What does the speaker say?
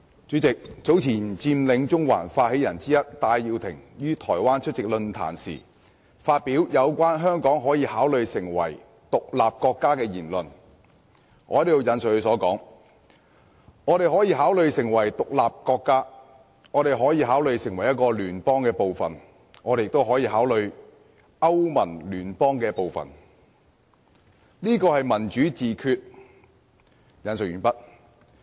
主席，早前佔領中環發起人之一的戴耀廷於台灣出席論壇時，發表有關香港可以考慮成為獨立國家的言論，"我們可以考慮成為獨立國家，我們可以考慮成為一個聯邦的部分，我們也可以考慮好像歐盟那種聯邦，這就是民主自決。